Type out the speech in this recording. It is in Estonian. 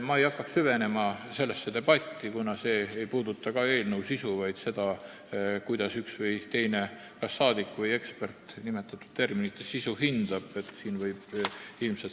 Ma ei hakkaks sellesse debati osasse süvenema, kuna see ei puuduta eelnõu sisu, vaid seda, kuidas üks või teine rahvasaadik või ekspert nimetatud terminite sisu hindab.